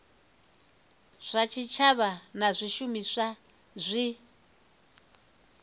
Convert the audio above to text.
zwa tshitshavha na zwishumiswa zwi